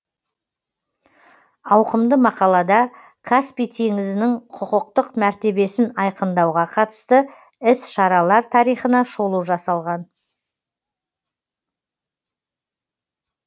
ауқымды мақалада каспий теңізінің құқықтық мәртебесін айқындауға қатысты іс шаралар тарихына шолу жасалған